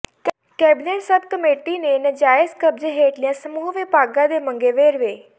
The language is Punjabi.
ਕੈਬਨਿਟ ਸਬ ਕਮੇਟੀ ਨੇ ਨਾਜਾਇਜ਼ ਕਬਜ਼ੇ ਹੇਠਲੀਆਂ ਸਮੂਹ ਵਿਭਾਗਾਂ ਦੇ ਮੰਗੇ ਵੇਰਵੇ